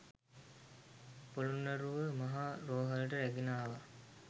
පොළොන්නරුව මහ රෝහලට රැගෙන ආවා